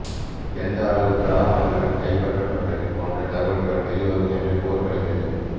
எந்த அளவுக்கு ஆவணங்கள் கைப்பற்றப்பட்டது போன்ற தகவல்கள் வெளிவரும் என்று கூறப்படுகிறது